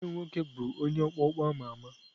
Nwanne m nwoke bụbu onye ọkpọ ọkpọ a ma ama.